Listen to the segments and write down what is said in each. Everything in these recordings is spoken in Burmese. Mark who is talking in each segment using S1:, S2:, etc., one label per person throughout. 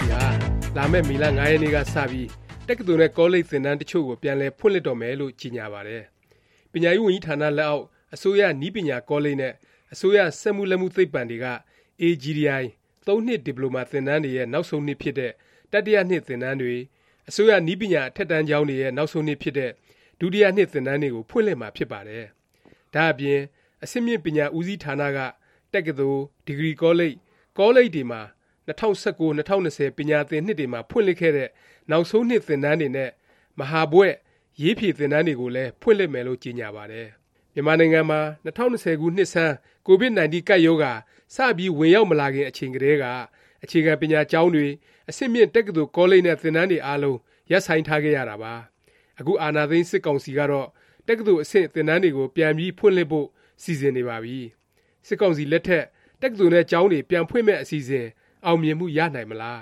S1: စီဟာ လာမယ့် မေလ ၅ ရက်နေ့ကစပြီး တက္ကသိုလ်နဲ့ ကောလိပ် သင်တန်းတစ်ချို့ကို ပြန်လည်ဖွင့်လှစ်တော့မယ်လို့ ကြေညာပါတယ်။ ပညာရေးဝန်ကြီးဌာန လက်အောက် အစိုးရ နည်းပညာကောလိပ်နဲ့ အစိုးရ စက်မှုလက်မှု သိပ္ပံတွေက AGTI ၃ နှစ် ဒီပလိုမာ သင်တန်းတွေရဲ့ နောက်ဆုံးနှစ်ဖြစ်တဲ့ တတိယနှစ် သင်တန်းတွေ၊ အစိုးရ နည်းပညာ အထက်တန်းကျောင်းတွေရဲ့ နောက်ဆုံးနှစ်ဖြစ်တဲ့ ဒုတိယနှစ် သင်တန်းတွေကို ဖွင့်လှစ်မှာ ဖြစ်ပါတယ်။ ဒါ့အပြင် အဆင့်မြင့် ပညာဦးစီးဌာနက တက္ကသိုလ်၊ ဒီဂရီကောလိပ်၊ ကောလိပ်တွေမှာ ၂၀၁၉-၂၀၂၀ ပညာသင်နှစ်တွေမှာ ဖွင့်လှစ်ခဲ့တဲ့ နောက်ဆုံးနှစ် သင်တန်းတွေနဲ့ မဟာဘွဲ့ (ရေးဖြေ) သင်တန်းတွေကိုလည်း ဖွင့်လှစ်မယ်လို့ ကြေညာပါတယ်။ မြန်မာနိုင်ငံမှာ ၂၀၂၀ ပြည့် နှစ်ဆန်း Covid-19 ကပ်ရောဂါ စပြီး ဝင်ရောက်မလာခင် အချိန်ကတည်းက အခြေခံပညာကျောင်းတွေ၊ အဆင့်မြင့် တက္ကသိုလ် ကောလိပ်တွေနဲ့ သင်တန်းတွေအားလုံး ရပ်ဆိုင်းထားခဲ့ရတာပါ။ အခု အာဏာသိမ်း စစ်ကောင်စီကတော့ တက္ကသိုလ်အဆင့် သင်တန်းတွေကို ပြန်ပြီးဖွင့်လှစ်ဖို့ စီစဉ်နေပါပြီ။ စစ်ကောင်စီလက်ထက် တက္ကသိုလ်နဲ့ ကျောင်းတွေ ပြန်ဖွင့်မယ့် အစီအစဉ် အောင်မြင်မှု ရနိုင်မလား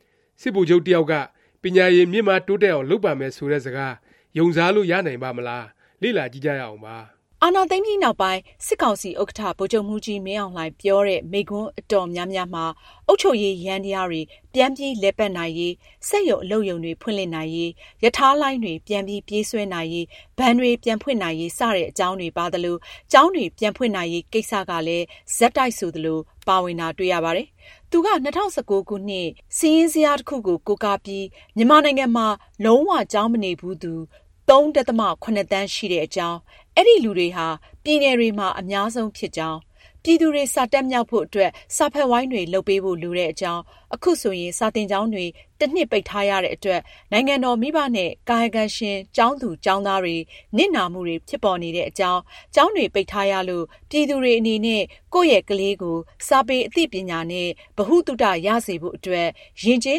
S1: ၊ စစ်ဗိုလ်ချုပ်တစ်ယောက်က ပညာရည် မြင့်မားတိုးတက်အောင် လုပ်ပါမယ် ဆိုတဲ့ စကား ယုံစားလို့ ရနိုင်ပါ့မလား၊ လေ့လာကြည့်ကြရအောင်ပါ။
S2: အာဏာသိမ်းပြီးနောက်ပိုင်း စစ်ကောင်စီ ဥက္ကဌ ဗိုလ်ချုပ်မှူးကြီး မင်းအောင်လှိုင် ပြောတဲ့ မိန့်ခွန်း အတော်များများမှာ အုပ်ချုပ်ရေးယန္တယားတွေ ပြန်ပြီး လည်ပတ်နိုင်ရေး၊ စက်ရုံ အလုပ်ရုံတွေ ဖွင့်လှစ်နိုင်ရေး၊ ရထားလိုင်းတွေ ပြန်ပြီး ပြေးဆွဲနိုင်ရေး၊ ဘဏ်တွေ ပြန်ဖွင့်နိုင်ရေး စတဲ့ အကြောင်းတွေ ပါသလို၊ ကျောင်းတွေ ပြန်ဖွင့်နိုင်ရေး ကိစ္စကလည်း ဆက်တိုက်ဆိုသလို ပါဝင်တာ တွေ့ရပါတယ်။ သူက ၂၀၁၉ ခုနှစ် စာရင်းဇယားတစ်ခုကို ကိုးကားပြီး မြန်မာနိုင်ငံမှာ လုံး၀ ကျောင်းမနေဘူးသူ ၃ ဒသမ ၇ သန်းရှိတဲ့အကြောင်း၊ အဲဒီလူတွေဟာ ပြည်နယ်တွေမှာ အများဆုံးဖြစ်ကြောင်း၊ ပြည်သူတွေ စာတတ်မြောက်ဖို့အတွက် စာဖတ်ဝိုင်းတွေ လုပ်ပေးဖို့ လိုတဲ့အကြောင်း၊ ခုဆိုရင် စာသင်ကျောင်းတွေ တစ်နှစ် ပိတ်ထားရတဲ့အတွက် နိုင်ငံတော်၊ မိဘနဲ့ ကာယကံရှင် ကျောင်းသားကျောင်းသူတွေ နစ်နာမှုတွေ ဖြစ်ပေါ်နေတဲ့အကြောင်း၊ ကျောင်းတွေ ပိတ်ထားရလို့ ပြည်သူတွေ အနေနဲ့ ကိုယ့်ရဲ့ကလေးကို စာပေ အသိပညာနဲ့ ဗဟုသုတ ရစေဖို့အတွက် ယဉ်ကျေး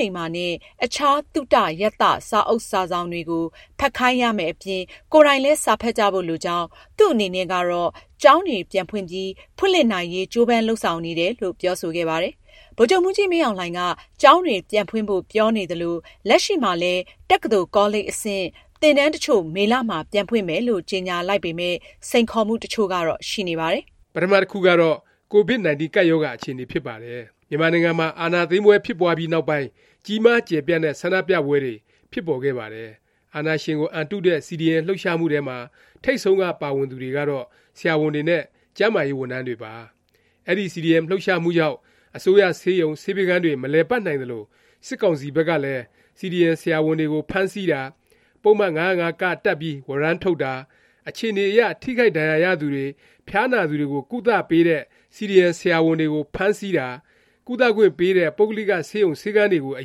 S2: လိမ္မာနဲ့ အခြား သုတ ရသ စာအုပ်စာစောင်တွေကို ဖတ်ခိုင်းရမယ့်အပြင် ကိုယ်တိုင်လည်း စာဖတ်ကြဖို့ လိုကြောင်း၊ သူ့အနေနဲ့ကတော့ ကျောင်းတွေ ပြန်ပြီး ဖွင့်လှစ်နိုင်ရေး ကြိုးပမ်းလုပ်ဆောင်နေတယ်လို့ ပြောဆိုခဲ့ပါတယ်။ ဗိုလ်ချုပ်မှူးကြီး မင်းအောင်လှိုင်က ကျောင်းတွေ ပြန်ဖွင့်ဖို့ပြောနေသလို လက်ရှိမှာလည်း တက္ကသိုလ် ကောလိပ် အဆင့် သင်တန်းတစ်ချို့ မေလမှာ ပြန်ဖွင့်မယ်လို့ ကြေညာလိုက်ပေမယ့် စိန်ခေါ်မှု တစ်ချို့ကတော့ ရှိနေပါတယ်
S1: ။ ပထမ တခုကတော့ Covid-19 ကပ်ရောဂါ အခြေအနေ ဖြစ်ပါတယ်။ မြန်မာနိုင်ငံမှာ အာဏာသိမ်းပွဲဖြစ်ပွားပြီးနောက်ပိုင်း ကြီးမား ကျယ်ပြန့်တဲ့ ဆန္ဒပြပွဲတွေ ဖြစ်ပေါ်ခဲ့ပါတယ်။ အာဏာရှင်ကို အန်တုတဲ့ CDM လှုပ်ရှားမှုထဲမှာ ထိပ်ဆုံးက ပါဝင်သူတွေကတော့ ဆရာဝန်တွေနဲ့ ကျန်းမာရေးဝန်ထမ်းတွေပါ။ အဲဒီ CDM လှုပ်ရှားမှုကြောင့် အစိုးရဆေးရုံ၊ ဆေးပေးခန်းတွေ မလည်ပတ်နိုင်သလို၊ စစ်ကောင်စီ ဘက်ကလည်း CDM ဆရာဝန်တွေကို ဖမ်းဆီးတာ၊ ပုဒ်မ ၅၀၅(က) တပ်ပြီး ဝရမ်းထုတ်တာ၊ အခြေအနေအရ ထိခိုက်ဒဏ်ရာရသူတွေ၊ ဖျားနာသူတွေကို ကုသပေးတဲ့ CDM ဆရာဝန်တွေကို ဖမ်းဆီးတာ၊ ကုသခွင့်ပေးတဲ့ ပုဂ္ဂလိက ဆေးရုံ ဆေးခန်းတွေကို အ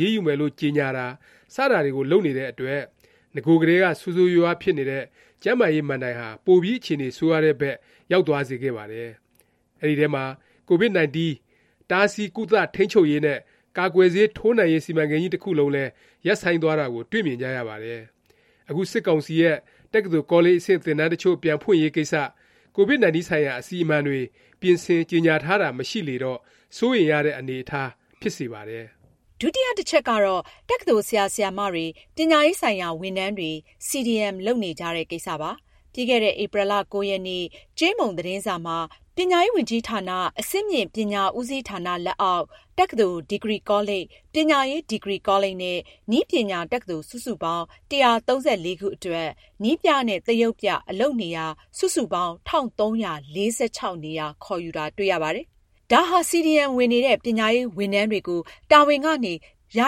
S1: ရေးယူမယ်လို့ ကြေညာတာ စတာတွေကို လုပ်နေတဲ့အတွက် နဂိုကတည်းက ဆိုးဆိုးရွားရွားဖြစ်နေတဲ့ ကျန်းမာရေး မဏ္ဍိုင်ဟာ ပိုပြီး အခြေအနေ ဆိုးရွားတဲ့ဘက် ရောက်သွားစေခဲ့ပါတယ်။ အဲဒီထဲမှာ Covid-19 တားဆီး၊ ကုသ၊ ထိန်းချုပ်ရေးနဲ့ ကာကွယ်ဆေး ထိုးနှံရေး စီမံကိန်းကြီး တစ်ခုလုံးလည်း ရပ်ဆိုင်းသွားတာကို တွေ့မြင်ကြရပါတယ်။ အခု စစ်ကောင်စီရဲ့ တက္ကသိုလ် ကောလိပ် အဆင့် သင်တန်းတစ်ချို့ ပြန်ဖွင့်ရေးကိစ္စ Covid-19 ဆိုင်ရာ အစီအမံတွေ ပြင်ဆင်၊ ကြေညာ ထားတာ မရှိလေတော့ စိုးရိမ်ရတဲ့ အနေအထား ဖြစ်စေပါတယ်
S2: ။ ဒုတိယ တစ်ချက်ကတော့ တက္ကသိုလ် ဆရာဆရာမတွေ၊ ပညာရေးဆိုင်ရာ ဝန်ထမ်းတွေ CDM လုပ်နေကြတဲ့ ကိစ္စပါ။ ပြီးခဲ့တဲ့ ဧပြီ ၉ ရက်နေ့ ကြေးမုံ သတင်းစာမှာ ပညာရေးဝန်ကြီးဌာန အဆင့်မြင့် ပညာဦးစီးဌာန လက်အောက် တက္ကသိုလ်၊ ဒီဂရီကောလိပ်၊ ပညာရေး ဒီဂရီကောလိပ်နဲ့ နည်းပညာတက္ကသိုလ် စုစုပေါင်း ၁၃၄ ခုအတွက် နည်းပြနဲ့ သရုပ်ပြ အလုပ်နေရာ စုစုပေါင်း ၁၃၄၆ နေရာ ခေါ်ယူတာ တွေ့ရပါတယ်။ ဒါဟာ CDM ဝင်နေတဲ့ ပညာရေး ဝန်ထမ်းတွေကို တာဝန်ကနေ ယာ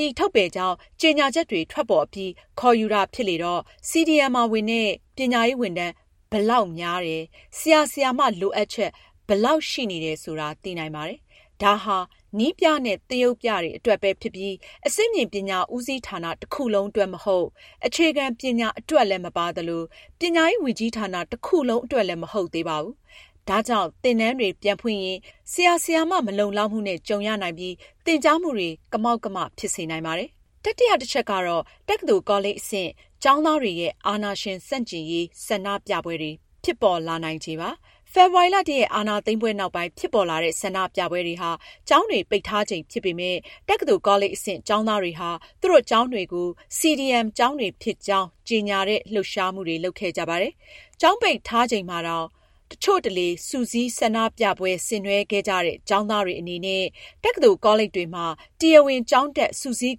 S2: ယီ ထုတ်ပယ်ကြောင်း ကြေညာချက်တွေ ထွက်ပေါ်အပြီး ခေါ်ယူတာ ဖြစ်လေတော့ CDM ဝင်တဲ့ ပညာရေးဝန်ထမ်း ဘယ်လောက်များတယ်၊ ဆရာ၊ ဆရာမ လိုအပ်ချက် ဘယ်လောက် ရှိနေတယ် ဆိုတာ သိနိုင်ပါတယ်။ ဒါဟာ နည်းပြနဲ့ သရုပ်ပြတွေ အတွက်ပဲဖြစ်ပြီး အဆင့်မြင့်ပညာ ဦးစီးဌာန တစ်ခုလုံး အတွက် မဟုတ်၊ အခြေခံ ပညာအတွက်လည်း မပါသလို၊ ပညာရေး ဝန်ကြီးဌာန တစ်ခုလုံး အတွက်လည်း မဟုတ်သေးပါဘူး။ ဒါကြောင့် သင်တန်းတွေ ပြန်ဖွင့်ရင် ဆရာ၊ ဆရာမ မလုံလောက်မှုနဲ့ ကြုံရနိုင်ပြီး သင်ကြားမှုတွေ ကမောက်ကမ ဖြစ်စေနိုင်ပါတယ်။ တတိယ တစ်ချက်ကတော့ တက္ကသိုလ် ကောလိပ် အဆင့် ကျောင်းသားတွေရဲ့ အာဏာရှင် ဆန့်ကျင်ရေး ဆန္ဒပြပွဲတွေ ဖြစ်ပေါ်လာနိုင်ချေပါ။ ဖေဖေါ်ဝါရီ ၁ ရက် အာဏာသိမ်းပွဲ နောက်ပိုင်း ဖြစ်ပေါ်လာတဲ့ ဆန္ဒပြပွဲတွေဟာ ကျောင်းတွေ ပိတ်ထားချိန်ဖြစ်ပေမယ့် တက္ကသိုလ် ကောလိပ် အဆင့် ကျောင်းသားတွေဟာ သူတို့ ကျောင်းတွေကို CDM ကျောင်းတွေဖြစ်ကြောင်း ကြေညာတဲ့ လှုပ်ရှားမှုတွေ လုပ်ခဲ့ကြပါတယ်။ ကျောင်းပိတ်ထားချိန်မှာတောင် တစ်ချို့တလေ စုစည်း၊ ဆန္ဒပြပွဲ ဆင်နွဲှခဲ့ကြတဲ့ ကျောင်းသားတွေ အနေနဲ့ တက္ကသိုလ် ကောလိပ်တွေမှာ တရားဝင် ကျောင်းတက် စုစည်း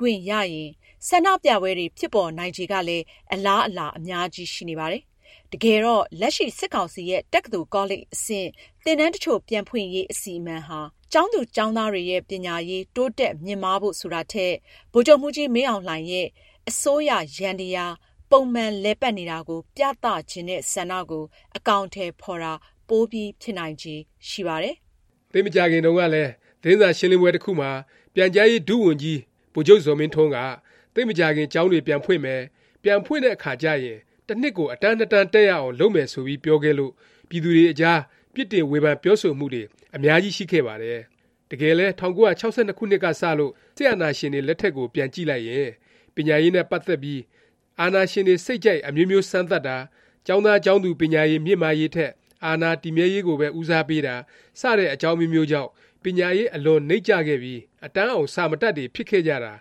S2: ခွင့်ရရင် ဆန္ဒပြပွဲတွေ ဖြစ်ပေါ်နိုင်ချေကလည်း အလားအလာ အများကြီး ရှိနေပါတယ်။ တကယ်တော့ လက်ရှိ စစ်ကောင်စီရဲ့ တက္ကသိုလ် ကောလိပ် အဆင့် သင်တန်းတစ်ချို့ ပြန်ဖွင့်ရေး အစီအမံဟာ ကျောင်းသူ ကျောင်းသားတွေရဲ့ ပညာရေး တိုးတက် မြင့်မားဖို့ ဆိုတာထက် ဗိုလ်ချုပ်မှူးကြီး မင်းအောင်လှိုင်ရဲ့ ပုံမှန် လည်ပတ်နေတာကို ပြသချင်တဲ့ ဆန္ဒကို အကောင်အထည် ဖော်တာ ပိုပြီး ဖြစ်နိုင်ချေ ရှိပါတယ်
S1: ။ သိပ်မကြာခင်တုန်းကလည်း သတင်းစာရှင်းလင်းပွဲ တစ်ခုမှာ ပြန်ကြားရေး ဒုဝန်ကြီး ဗိုလ်ချုပ်ဇော်မင်းထွန်းက သိပ်မကြာခင် ကျောင်းတွေ ပြန်ဖွင့်မယ်၊ ပြန်ဖွင့်တဲ့အခါကျရင် တစ်နှစ်ကို အတန်း ၂ တန်း တက်ရအောင် လုပ်မယ် ဆိုပြီး ပြောခဲ့လို့ ပြည်သူတွေအကြား ပြစ်တင် ဝေဖန် ပြောဆိုမှုတွေ အများကြီး ရှိခဲ့ပါတယ်။ တကယ်လည်း ၁၉၆၂ ခုနှစ်ကစလို့ စစ်အာဏာရှင်တွေ လက်ထက်ကို ပြန်ကြည့်လိုက်ရင် ပညာရေးနဲ့ ပတ်သက်ပြီး အာဏာရှင်တွေ စိတ်ကြိုက် အမျိုးမျိုး စမ်းသပ်တာ၊ ကျောင်းသားကျောင်းသူ ပညာရည် မြင့်မားရေးထက် အာဏာတည်မြဲရေးကိုပဲ ဦးစားပေးတာ စတဲ့ အကြောင်းအမျိုးမျိုးကြောင့် ပညာရေး အလွန်နိမ့်ကျခဲ့ပြီး အတန်းအောင် စာမတတ်တွေ ဖြစ်ခဲ့ကြတာ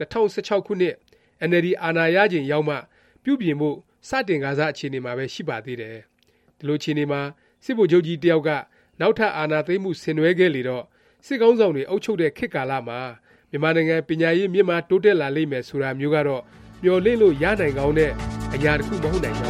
S1: ၂၀၁၆ ခုနှစ် အင်န်အယ်လ်ဒီ အာဏာရချိန်ရောက်မှ ပြုပြင်ဖို့ စတင်ကာစ အခြေအနေမှာပဲ ရှိပါသေးတယ်။ ဒီလို အခြေအနေမှာ စစ်ဗိုလ်ချုပ်ကြီး တစ်ယောက်က နောက်ထပ် အာဏာသိမ်းမှု ဆင်နွဲှခဲ့လေတော့ စစ်ခေါင်းဆောင်တွေ အုပ်ချုပ်တဲ့ ခေတ်ကာလမှာ မြန်မာနိုင်ငံ ပညာရေး မြင့်မား တိုးတက်လာလိမ့်မယ် ဆိုတာမျိုးကတော့ မျှော်လင့်လို့ ရနိုင်ကောင်းတဲ့ အရာ တစ်ခု မဟုတ်နိုင်ကြ